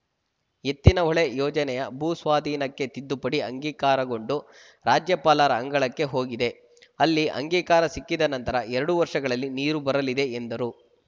ಎತ್ತಿನಹೊಳೆ ಯೋಜನೆಯ ಭೂ ಸ್ವಾಧೀನಕ್ಕೆ ತಿದ್ದುಪಡಿ ಅಂಗೀಕಾರಗೊಂಡು ರಾಜ್ಯಪಾಲರ ಅಂಗಳಕ್ಕೆ ಹೋಗಿದೆ ಅಲ್ಲಿ ಅಂಗಿಕಾರ ಸಿಕ್ಕಿದ ನಂತರ ಎರಡು ವರ್ಷಗಳಲ್ಲಿ ನೀರು ಬರಲಿದೆ ಎಂದರು